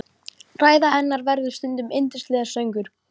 Ræða hennar verður stundum yndislegur söngur.